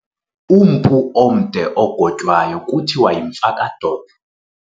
Umpu omde ogotywayo kuthiwa yimfakadolo.